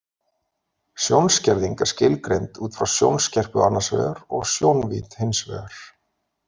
Sjónskerðing er skilgreind út frá sjónskerpu annars vegar og sjónvídd hins vegar.